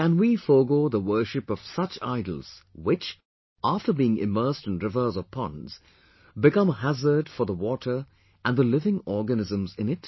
Can we forego the worship of such idols, which, after being immersed in rivers or ponds, become a hazard for the water and the living organisms in it